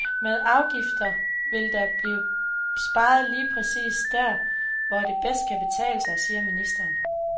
Med afgifter vil der blive sparet lige præcist der, hvor det bedst kan betale sig, siger ministeren.